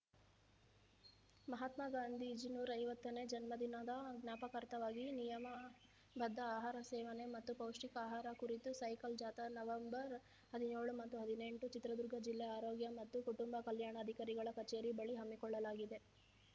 ಮಹಾತ್ಮ ಗಾಂಧೀಜಿ ನೂರ ಐವತ್ತನೇ ಜನ್ಮದಿನದ ಜ್ಞಾಪಕಾರ್ಥವಾಗಿ ನಿಯಮಬದ್ಧ ಆಹಾರ ಸೇವನೆ ಮತ್ತು ಪೌಷ್ಠಿಕ ಆಹಾರ ಕುರಿತು ಸೈಕಲ್‌ ಜಾಥಾ ನವಂಬರ್‌ ಹದಿನ್ಯೋಳು ಮತ್ತು ಹದಿನೆಂಟರಂದು ಚಿತ್ರದುರ್ಗ ಜಿಲ್ಲಾ ಆರೋಗ್ಯ ಮತ್ತು ಕುಟುಂಬ ಕಲ್ಯಾಣಾಧಿಕಾರಿಗಳ ಕಚೇರಿ ಬಳಿ ಹಮ್ಮಿಕೊಳ್ಳಲಾಗಿದೆ